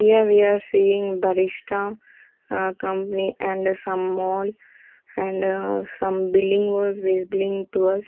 Here we are seeing barishta company and some mall and some building was visbling to us.